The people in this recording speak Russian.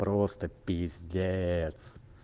просто пиздец